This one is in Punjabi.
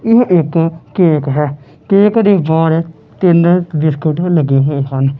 ਇਹ ਇੱਕ ਕੇਕ ਹੈ ਕੇਕ ਦੇ ਬਾਹਰ ਦਿਨ ਬਿਸਕੁਟ ਵੀ ਲੱਗੇ ਹੋਏ ਹਨ।